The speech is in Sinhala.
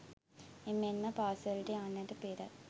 එමෙන් ම පාසලට යන්නට පෙර